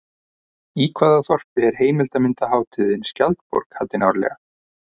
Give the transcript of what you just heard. Í hvaða þorpi er heimildarmyndarhátíðin Skjaldborg haldin árlega?